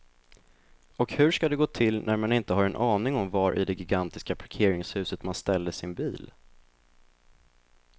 Och hur ska det gå till när man inte har en aning om var i det gigantiska parkeringshuset man ställde sin bil.